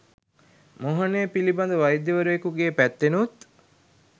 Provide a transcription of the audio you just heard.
මෝහනය පිලිබඳ වෛද්‍යයවරයෙකුගේ පැත්තෙනුත්